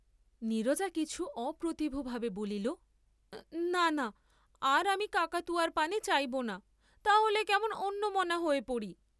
নীরজা কিছু অপ্রতিভ ভাবে বলিল না, না, আর আমি কাকাতুয়ার পানে চাইব না, তা হলে কেমন অন্যমনা হয়ে পড়ি।